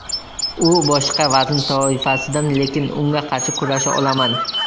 U boshqa vazn toifasidan, lekin unga qarshi kurasha olaman.